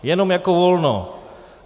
Jen jako volno.